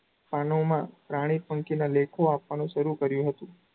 પાનોમાં પ્રાણી -પંખીના લેખો આપવાનું શરુ કર્યું હતું.